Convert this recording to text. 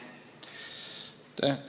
Aitäh!